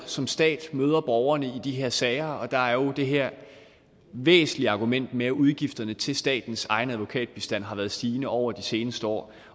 som stat møder borgerne i de her sager og der er jo det her væsentlige argument med at udgifterne til statens egen advokatbistand har været stigende over de seneste år